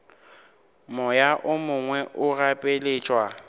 moya o mongwe o gapeletšwa